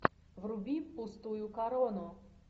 вруби пустую корону